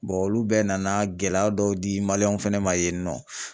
olu bɛɛ nana gɛlɛya dɔw di w fɛnɛ ma yen nɔ.